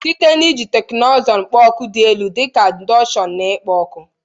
Site n'iji teknụzụ kpo oku dị elu dị ka indosonu na ikpo ọkụ.